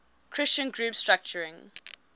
christian group structuring